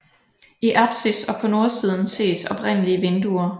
I apsis og på nordsiden ses oprindelige vinduer